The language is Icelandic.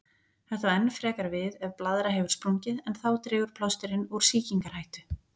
Þetta á enn frekar við ef blaðra hefur sprungið, en þá dregur plásturinn úr sýkingarhættu.